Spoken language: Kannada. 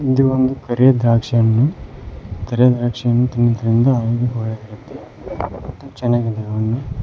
ಇಂದಿ ಒಂದು ಕರಿ ದ್ರಾಕ್ಷಿಯನ್ನು ದ್ರಾಕ್ಷಿಯನ್ನು ತಿನುತೆಂದು ಆರೋಗ್ಯಕ ಒಳ್ಳೆದಿರುತೆ ಮತ್ತೆ ಚನ್ನಾಗಿದೆ ಹಣ್ಣು.